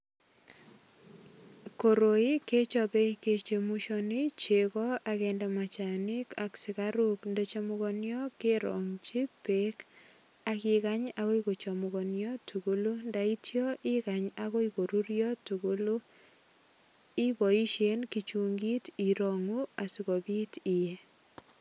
Koroi kechope kechemushani chego ak kende machanik ak sigaruk ndachumugonio kerongchi beek ak igany agoi kochumuganio tugulu. Ndaityo igany agoi korurio tugulu, iboisien kichungit irangu asigopit iye.